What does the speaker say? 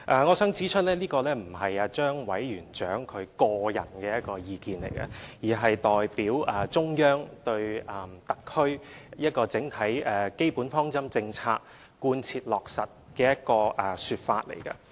我想指出，這並非張委員長的個人意見，而是他代表中央就特區整體基本方針政策貫徹落實的說法。